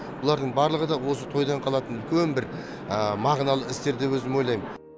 бұлардың барлығы да осы тойдан қалатын үлкен бір мағыналы істер деп өзім ойлаймын